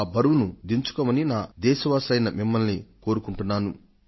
ఈ బరువును దించుకోమని నా దేశ వాసులైన మిమ్మల్ని కోరుకుంటున్నాను